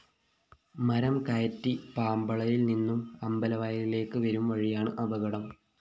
മരം കയറ്റി പാമ്പളയില്‍ നിന്നും അമ്പലവയലിലേക്ക് വരുംവഴിയാണ് അപകടം